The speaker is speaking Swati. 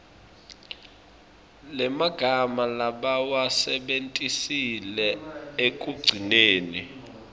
lemagama labawasebentisile ekugcineni